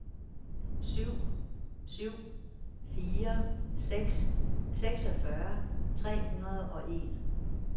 syv syv fire seks seksogfyrre tre hundrede og en